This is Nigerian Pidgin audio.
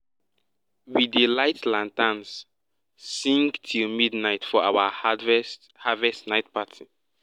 we dey light lanterns sing till midnight for our harvest harvest night party